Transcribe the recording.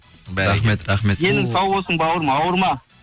рахмет рахмет денің сау болсын бауырым ауырма